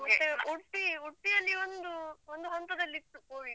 ಉಡ್ಪಿ ಉಡ್ಪಿ ಯಲ್ಲಿ ಒಂದು ಒಂದು ಹಂತದಲ್ಲಿ ಇತ್ತು covid .